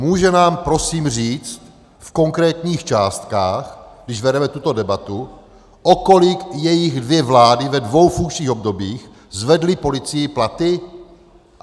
Může nám prosím říct v konkrétních částkách, když vedeme tuto debatu, o kolik jejich dvě vlády ve dvou funkčních obdobích zvedly policii platy?